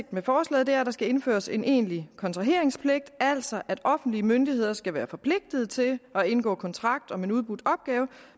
med forslaget er der skal indføres en egentlig kontraheringspligt altså at offentlige myndigheder skal være forpligtet til at indgå kontrakt om en udbudt opgave